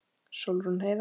Sólrún Heiða.